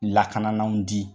Lakanananw di